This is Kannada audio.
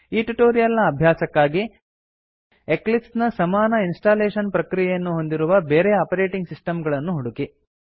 ಈ ಟ್ಯುಟೋರಿಯಲ್ ನ ಅಭ್ಯಾಸಕ್ಕಾಗಿ ಎಕ್ಲಿಪ್ಸ್ ನ ಸಮಾನ ಇನ್ಸ್ಟಾಲೇಶನ್ ಪ್ರಕ್ರಿಯೆಯನ್ನು ಹೊಂದಿರುವ ಬೇರೆ ಆಪರೇಟಿಂಗ್ ಸಿಸ್ಟಮ್ ಗಳನ್ನು ಹುಡುಕಿ